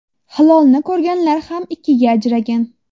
Hilolni ko‘rganlar ham ikkiga ajragan.